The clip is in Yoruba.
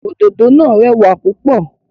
Òdòdó náà rẹwà púpọ̀.